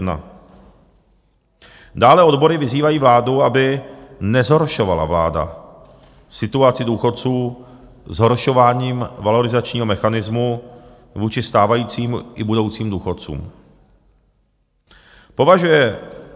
Dále odbory vyzývají vládu, aby nezhoršovala vláda situaci důchodců zhoršováním valorizačního mechanismu vůči stávajícím i budoucím důchodcům.